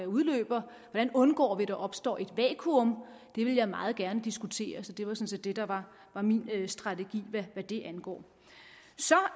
udløber hvordan undgår vi at der opstår et vakuum det vil jeg meget gerne diskutere så det var sådan set det der var min strategi hvad det angår så